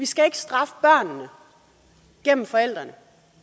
skal straffe børnene gennem forældrene